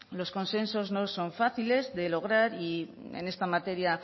los consensos no son fáciles de lograr y en esta materia